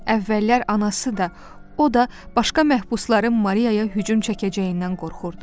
Əvvəllər anası da, o da başqa məhbusların Mariyaya hücum çəkəcəyindən qorxurdu.